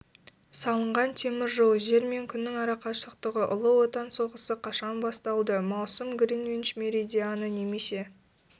салынған темір жол жер мен күннің арақашықтығы ұлы отан соғысы қашан басталды маусым гринвич меридианы немесе